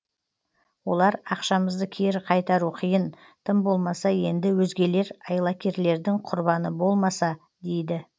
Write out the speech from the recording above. олар ақшамызды кері қайтару қиын тым болмаса енді өзгелер айлакерлердің құрбаны болмаса дейді